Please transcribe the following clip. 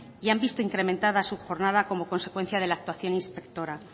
y han visto incrementada su jornada como consecuencia de la actuación inspectora